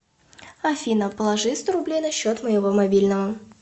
афина положи сто рублей на счет моего мобильного